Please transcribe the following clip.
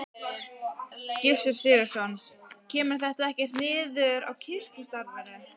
Gissur Sigurðsson: Kemur þetta ekkert niður á kirkjustarfinu?